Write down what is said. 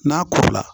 N'a ko la